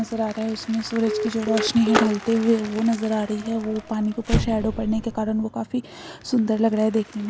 नजर आ रहा है। उसमें सूरज की जो रोशनी है। ढलते हुए वो नजर आ रही है। वो पानी की ऊपर शैडो बनने के कारण वो काफी सुंदर लग रहे है देखने में।